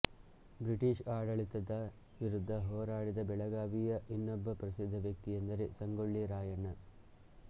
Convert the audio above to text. British ಆಡಳಿತದ ವಿರುದ್ಧ ಹೋರಾಡಿದ ಬೆಳಗಾವಿಯ ಇನ್ನೊಬ್ಬ ಪ್ರಸಿದ್ಧ ವ್ಯಕ್ತಿಯೆಂದರೆ ಸಂಗೊಳ್ಳಿ ರಾಯಣ್ಣ